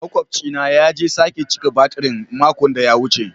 Maƙwabci na ya je sake cika batirin mako da ya wuce.